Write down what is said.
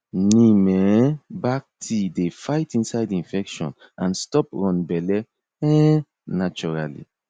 neem um bark tea dey fight inside infection and stop run belle um naturally